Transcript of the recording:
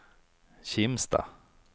Kimstad